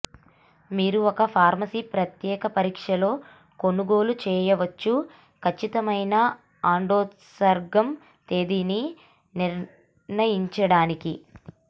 మీరు ఒక ఫార్మసీ ప్రత్యేక పరీక్ష లో కొనుగోలు చేయవచ్చు ఖచ్చితమైన అండోత్సర్గం తేదీని నిర్ణయించడానికి